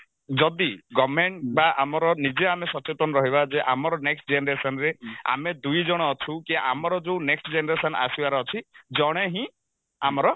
ଯଦି government ବା ଆମର ନିଜେ ଆମେ ସଚେତନ ରହିବା ଯେ ଆମର next generationରେ ଆମେ ଦୁଇଜଣ ଅଛୁ କି ଆମର ଯଉ next generation ଆସିବାର ଅଛି ଜଣେ ହିଁ ଆମର